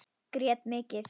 Grét mikið.